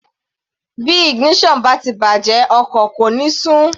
Bí ignition bá ti bàjẹ́ ọkọ̀ kò ní sún.